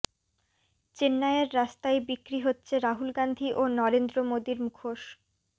চেন্নাইয়ের রাস্তায় বিক্রি হচ্ছে রাহুল গান্ধী ও নরেন্দ্র মোদীর মুখোশ